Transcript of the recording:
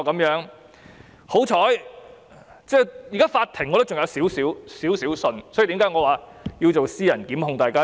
現時我對法庭尚有少許信任，這是我現在及未來要提出私人檢控的原因。